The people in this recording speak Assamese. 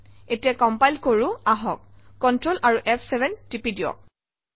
এতিয়া কম্পাইল কৰোঁ আহক কন্ট্ৰল আৰু ফ7 টিপি দিয়ক